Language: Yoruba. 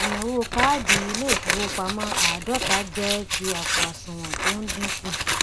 inawo káàdì ilé ìfowópamó ààdóta jé ti àpò asùwòn tó n dínku